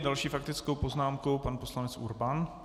S další faktickou poznámkou pan poslanec Urban.